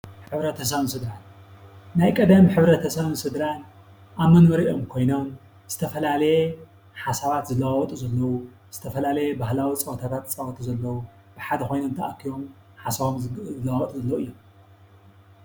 ሕብረተሰብን ስድራን:- ናይ ቀደም ሕብረተሰብን ስድራን ኣብ መንበሪኦም ኮይኖም ዝተፈላለየ ሓሳባትን ዝለዋወጥሉ ዘለዉ ዝተፈላለየ ባህላዊ ፀወታታት ዝፃወትሉ ዘለዉ ብሓደ ኮይኖም ተኣኪቦም ሓሳቦም ዝለዋወጡ ዘለዉ እዮም።